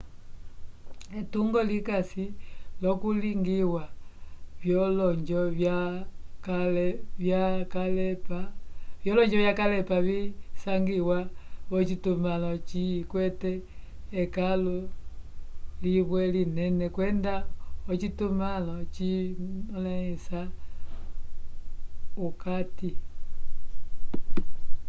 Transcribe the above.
etungo likasi l'okulingiwa vyolonjo vyakalepa visangiwa v'ocitumãlo likwete ekãlu limwe linene kwenda ocitumãlo cimõlisa okati